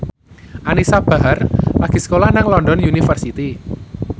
Anisa Bahar lagi sekolah nang London University